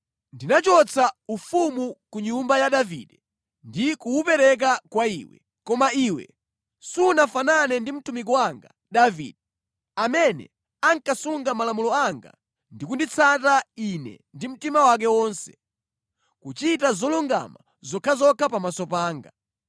Ndinachotsa ufumu ku nyumba ya Davide ndi kuwupereka kwa iwe, koma iwe sunafanane ndi mtumiki wanga Davide, amene ankasunga malamulo anga ndi kunditsata Ine ndi mtima wake wonse, kuchita zolungama zokhazokha pamaso panga.